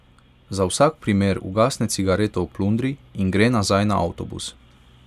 Za vsak primer ugasne cigareto v plundri in gre nazaj na avtobus.